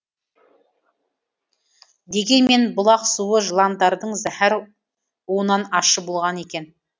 дегенмен бұлақ суы жыландардың зәһәр уынан ащы болған екен